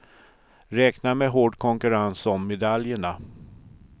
Räkna med hård konkurrens om medaljerna.